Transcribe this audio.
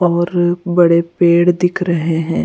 और बड़े पेड़ दिख रहे हैं --